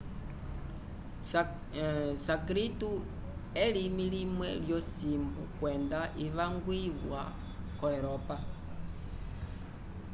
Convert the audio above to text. sânscrito elimi limwe lyosimbu kwenda ivangwiwa ko europa